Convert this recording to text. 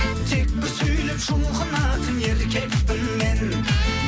тек бір сөйлеп жұлқынатын еркекпін мен